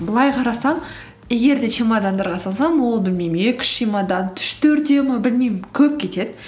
былай қарасам егер де чемодандарға салсам ол білмеймін екі үш чемодан үш төртеу ме білмеймін көп кетеді